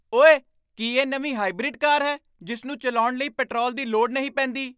ਓਏ! ਕੀ ਇਹ ਨਵੀਂ ਹਾਈਬ੍ਰਿਡ ਕਾਰ ਹੈ ਜਿਸ ਨੂੰ ਚਲਾਉਣ ਲਈ ਪੈਟਰੋਲ ਦੀ ਲੋੜ ਨਹੀਂ ਪੈਂਦੀ ?